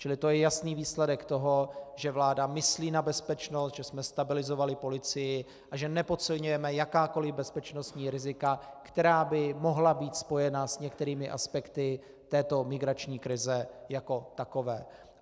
Čili to je jasný výsledek toho, že vláda myslí na bezpečnost, že jsme stabilizovali policii a že nepodceňujeme jakákoliv bezpečnostní rizika, která by mohla být spojena s některými aspekty této migrační krize jako takové.